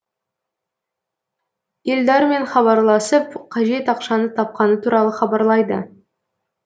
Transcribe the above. елдармен хабарласып қажет ақшаны тапқаны туралы хабарлайды